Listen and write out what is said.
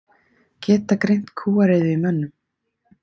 Geta greint kúariðu í mönnum